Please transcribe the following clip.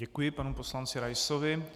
Děkuji panu poslanci Raisovi.